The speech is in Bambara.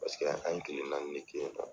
Paseke an ye kile naani de kɛ yennɔ.